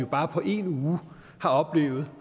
bare på én uge har oplevet